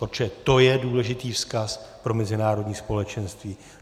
Protože to je důležitý vzkaz pro mezinárodní společenství.